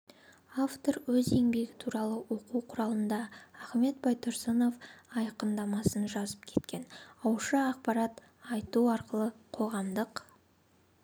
автор өз еңбегі туралы оқу құралында ахмет байтұрсынов айқындамасын жазып кеткен ауызша ақпарат айту арқылы қоғамдық